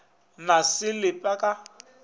na se le pe ka